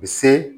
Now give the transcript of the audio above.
Bi se